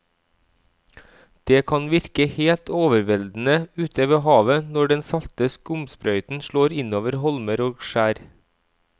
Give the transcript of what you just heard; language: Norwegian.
Det kan virke helt overveldende ute ved havet når den salte skumsprøyten slår innover holmer og skjær.